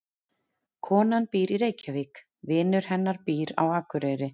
Konan býr í Reykjavík. Vinur hennar býr á Akureyri.